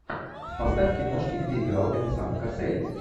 поставь киношки где играл венсан кассель